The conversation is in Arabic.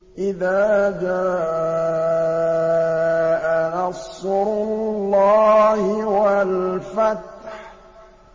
إِذَا جَاءَ نَصْرُ اللَّهِ وَالْفَتْحُ